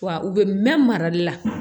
Wa u bɛ mɛn marali la